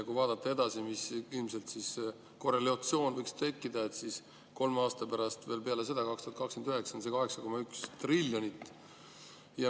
Kui vaadata edasi, mis korrelatsioon võiks tekkida, siis kolme aasta pärast, 2029, on see 8,1 triljonit.